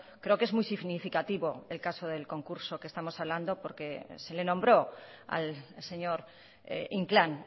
creo que es muy significativo el caso del concurso que estamos hablando porque se le nombró al señor inclán